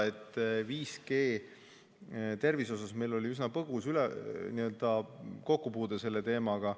Mis puudutab 5G ja tervise seost, siis meil oli üsna põgus kokkupuude selle teemaga.